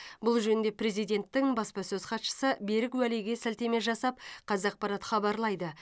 бұл жөнінде президенттің баспасөз хатшысы берік уәлиге сілтеме жасап қазақпарат хабарлайды